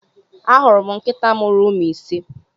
Ahuru m nkịta mụrụ ụmụ ise.